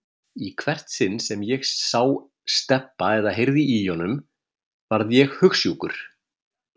Í hvert sinn sem ég sá Stebba eða heyrði í honum varð ég hugsjúkur.